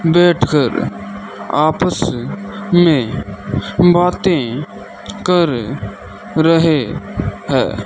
बैठकर आपस में बातें कर रहे है।